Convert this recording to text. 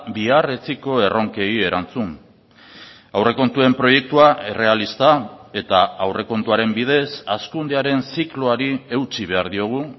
bihar etziko erronkei erantzun aurrekontuen proiektua errealista eta aurrekontuaren bidez hazkundearen zikloari eutsi behar diogu